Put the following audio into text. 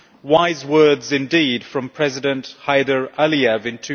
wise words indeed from President Heydar Aliyev in